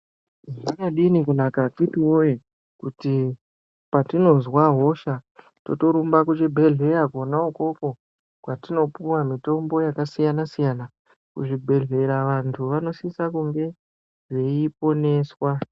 Kwakadini kunaka akhiti woye kuti patinozwa hosha totorumba kuzvibhedhleya kona ukoko kwatinopuwa mutombo wakasiyana siyana, kuzvibhedhlera wantu wanosisa kunge veiponeswa.